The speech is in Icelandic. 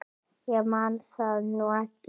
Ég man það nú ekki.